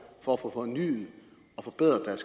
for få fornyet og forbedret